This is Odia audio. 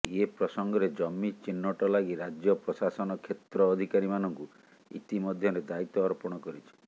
ଏ ପ୍ରସଙ୍ଗରେ ଜମି ଚିହ୍ନଟ ଲାଗି ରାଜ୍ୟ ପ୍ରଶାସନ କ୍ଷେତ୍ର ଅଧିକାରୀମାନଙ୍କୁ ଇତିମଧ୍ୟରେ ଦାୟିତ୍ୱ ଅର୍ପଣ କରିଛି